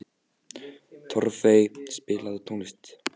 Torfey, spilaðu tónlist.